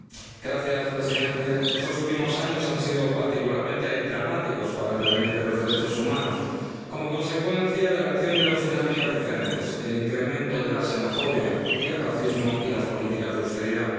Señor presidente, estos últimos años han sido particularmente dramáticos para el devenir de los derechos humanos, como consecuencia de la acción de dos dinámicas diferentes el incremento de la xenofobia y el racismo y las políticas de austeridad.